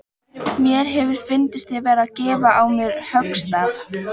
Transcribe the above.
Mér hefði fundist ég vera að gefa á mér höggstað.